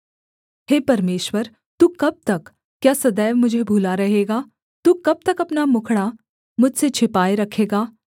हे परमेश्वर तू कब तक क्या सदैव मुझे भूला रहेगा तू कब तक अपना मुखड़ा मुझसे छिपाए रखेगा